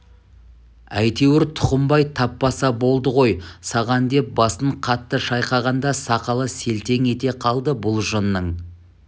әйтеуір тұқымбай таппаса болды ғой саған деп басын қатты шайқағанда сақалы селтең ете қалды бұл жыннан